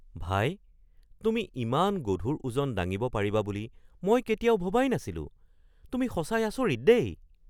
ভাই! তুমি ইমান গধুৰ ওজন দাঙিব পাৰিবা বুলি মই কেতিয়াও ভবাই নাছিলো, তুমি সঁচাই আচৰিত দেই!!